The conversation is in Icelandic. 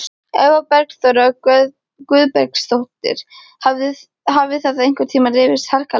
Eva Bergþóra Guðbergsdóttir: Hafið þið einhvern tíma rifist harkalega?